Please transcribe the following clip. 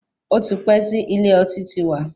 Ó ti pẹ́ tí ilé ọtí ti wà.